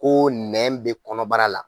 Ko nɛn bɛ kɔnɔbara la.